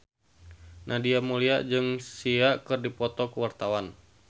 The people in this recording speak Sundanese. Nadia Mulya jeung Sia keur dipoto ku wartawan